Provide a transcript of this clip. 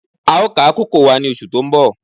A ó ká kókò wa ní oṣù tó ń bọ̀